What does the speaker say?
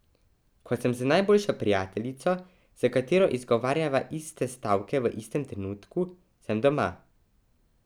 Ko sem z najboljšo prijateljico, s katero izgovarjava iste stavke v istem trenutku, sem doma.